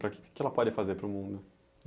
Para que? o que que ela pode fazer para o mundo?